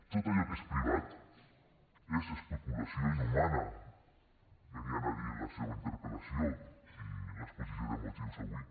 tot allò que és privat és especulació inhumana venien a dir en la seua interpel·lació i en l’exposició de motius avui